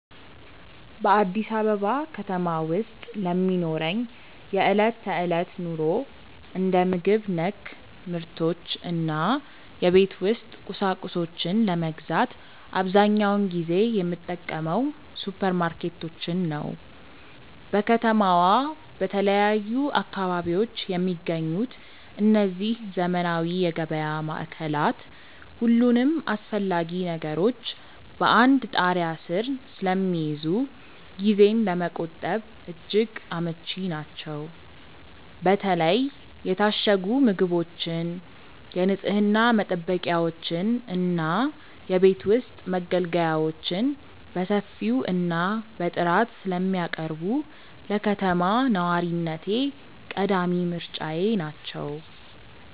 በአዲስ አበባ ከተማ ውስጥ ለሚኖረኝ የዕለት ተዕለት ኑሮ፣ እንደ ምግብ ነክ ምርቶች እና የቤት ውስጥ ቁሳቁሶችን ለመግዛት አብዛኛውን ጊዜ የምጠቀመው ሱፐርማርኬቶችን ነው። በከተማዋ በተለያዩ አካባቢዎች የሚገኙት እነዚህ ዘመናዊ የገበያ ማዕከላት፣ ሁሉንም አስፈላጊ ነገሮች በአንድ ጣሪያ ስር ስለሚይዙ ጊዜን ለመቆጠብ እጅግ አመቺ ናቸው። በተለይ የታሸጉ ምግቦችን፣ የንፅህና መጠበቂያዎችን እና የቤት ውስጥ መገልገያዎችን በሰፊው እና በጥራት ስለሚያቀርቡ፣ ለከተማ ነዋሪነቴ ቀዳሚ ምርጫዬ ናቸው።